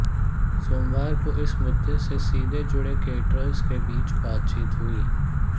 सोमवार को इस मुद्दे से सीधे जुड़े कैटरर्स के बीच बातचीत हुई